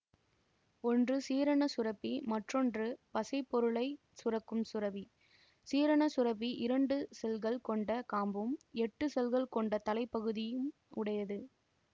ஒன்று சீரண சுரப்பி மற்றொன்று பசைப்பொருளைச் சுரக்கும் சுரப்பி சீரண சுரப்பி இரண்டு செல்கள் கொண்ட காம்பும் எட்டு செல்கள் கொண்ட தலைப்பகுதியும் உடையது